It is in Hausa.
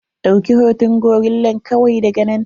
Ɗauki hoton gorillan kawai daga nan.